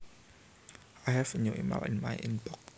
I have a new email in my inbox